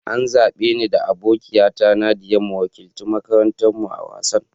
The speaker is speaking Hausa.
An zabe ni da abokiya ta Nadiya mu wakiltar makarantan mu a'wasan.